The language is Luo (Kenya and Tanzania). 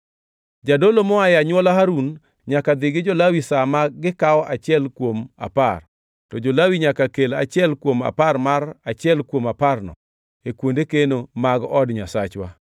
Jadolo moa e anywola Harun nyaka dhi gi jo-Lawi sa ma gikawo achiel kuom apar, to jo-Lawi nyaka kel achiel kuom apar mar achiel kuom aparno e kuonde keno mag od Nyasachwa.